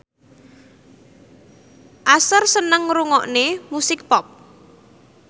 Usher seneng ngrungokne musik pop